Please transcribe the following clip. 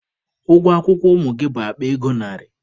Ụgwọ akwụkwọ ụmụ gị bụ akpa ego narị.